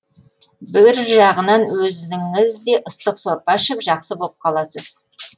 бір жағынан өзіңіз де ыстық сорпа ішіп жақсы боп қаласыз